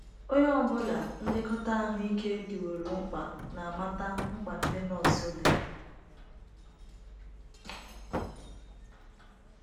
“ Onye ọ bụla nlekọta ahụ ike dịworo mkpa na - amata mkpa ndị nọọsụ dị. ”